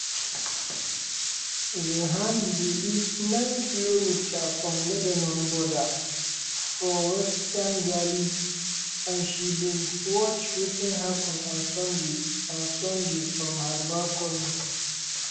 zehani dey live 9km from lebanon border for western galilee and she bin watch wetin happun on sunday on sunday from her balcony.